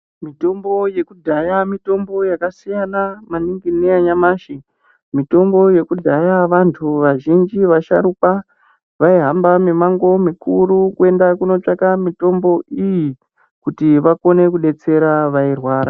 Mutombo yekudhaya mitombo yakasiyana maningi neyanyamashi. Mitombo yekudhaya vantu vazhinji vasharukwa vaihamba mimango mikuru kuenda kunotsvake mitombo iyi kuti vakone kudetsera vairwara.